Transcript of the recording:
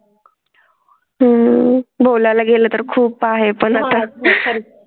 हम्म बोलाय ला गेलं तर खूप आहे पण आता.